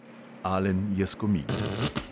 Alen je skomignil.